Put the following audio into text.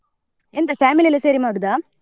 ಎಂತ family ಎಲ ಸೇರಿ ಮಾಡುದ?